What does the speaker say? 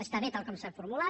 està bé tal com s’ha formulat